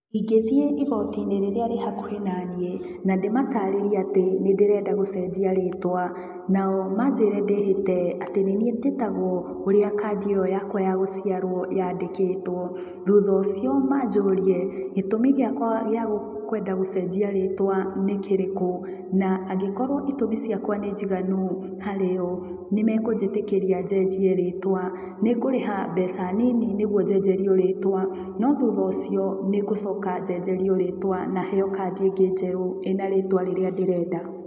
Ingĩthiĩ igoti-inĩ rĩrĩa rĩ hakuhĩ na niĩ, na ndĩmatarĩrie atĩ nĩndĩrenda gũcenjia rĩtwa, nao manjĩre ndĩhĩte atĩ nĩ niĩ njĩtagwo ũrĩa kandĩ ĩyo yakwa ya gũciaro yandĩkĩtwo, thutha ũcio manjũrie gĩtũmi gĩakwa gĩa kwenda gũcenjia rĩtwa nĩ kĩrĩkũ, na angĩkorwo itũmi ciakwa nĩ njiganu harĩ o, nĩ mekũnjĩtĩkĩria njenjie rĩtwa. Nĩngũrĩha mbeca nini nĩguo njenjerio rĩtwa, no thutha ũcio nĩ ngũcoka njenjerio rĩtwa na heo kandi ĩngĩ njerũ ĩrĩa ĩna rĩtwa rĩrĩa ndĩrenda.